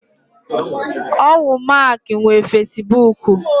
Owu Mark nwe Fesibuku.